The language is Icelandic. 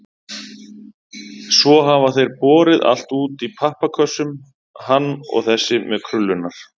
Svo hafa þeir borið allt út í pappakössum, hann og þessi með krullurnar.